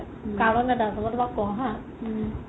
কাৰণ এটা আছে মই তোমাক কও হা